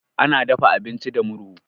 Ana dafa abinci da murhu.